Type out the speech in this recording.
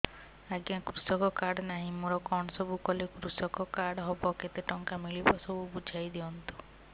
ଆଜ୍ଞା କୃଷକ କାର୍ଡ ନାହିଁ ମୋର କଣ ସବୁ କଲେ କୃଷକ କାର୍ଡ ହବ କେତେ ଟଙ୍କା ମିଳିବ ସବୁ ବୁଝାଇଦିଅନ୍ତୁ